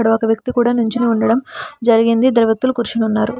అక్కడ ఒక వ్యక్తి కూడా నించోని ఉండడం జరిగింది దేవతలు కూర్చొని ఉన్నారు.